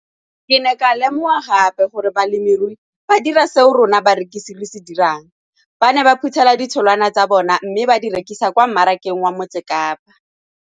Ke ne ka lemoga gape gore balemirui ba dira seo rona barekisi re se dirang, ba ne ba phuthela ditholwana tsa bona mme ba di rekisa kwa marakeng wa Motsekapa.